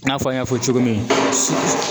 I n'a fɔ n y'a fɔ cogo min su